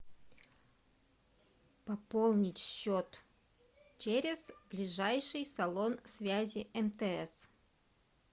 пополнить счет через ближайший салон связи мтс